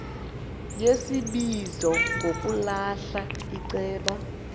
yesibizo ngokulahla iceba